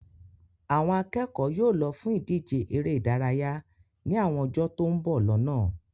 Àwọn akẹ́kọ̀ọ́ yóò lọ fún ìdíje eré ìdárayá ní àwọn ọjọ́ tó ń bọ̀ lọ́nà